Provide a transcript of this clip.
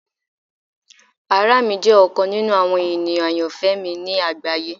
Ara mi jẹ ọkan ninu awọn eniyan ayanfẹ mi ni agbaye.